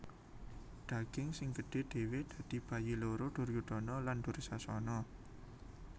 Daging sing gedhe dhewe dadi bayi loro Duryudana lan Dursasana